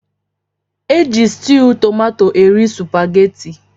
Eji stewwu tomato eri supaghetti.